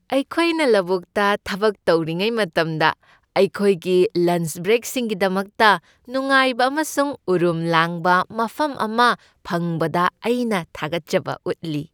ꯑꯩꯈꯣꯏꯅ ꯂꯧꯕꯨꯛꯇ ꯊꯕꯛ ꯇꯧꯔꯤꯉꯩ ꯃꯇꯝꯗ ꯑꯩꯈꯣꯏꯒꯤ ꯂꯟꯆ ꯕ꯭ꯔꯦꯛꯁꯤꯡꯒꯤꯗꯃꯛꯇ ꯅꯨꯡꯉꯥꯏꯕ ꯑꯃꯁꯨꯡ ꯎꯔꯨꯝ ꯂꯥꯡꯕ ꯃꯐꯝ ꯑꯃ ꯐꯪꯕꯗ ꯑꯩꯅ ꯊꯥꯒꯠꯆꯕ ꯎꯠꯂꯤ ꯫